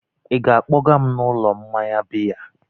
ị ga-akpọga m n'ụlọ mmanya biya?